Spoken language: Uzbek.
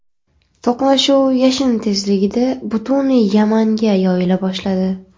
To‘qnashuv yashin tezligida butun Yamanga yoyila boshladi.